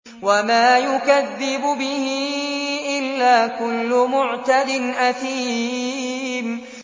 وَمَا يُكَذِّبُ بِهِ إِلَّا كُلُّ مُعْتَدٍ أَثِيمٍ